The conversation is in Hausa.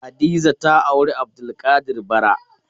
Hadiza ta auri Abdulkadir bara.